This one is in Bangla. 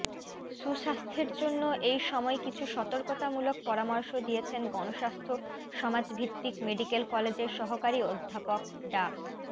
সুস্বাস্থ্যের জন্য এই সময় কিছু সতর্কতামূলক পরামর্শ দিয়েছেন গণস্বাস্থ্য সমাজভিত্তিক মেডিকেল কলেজের সহকারী অধ্যাপক ডা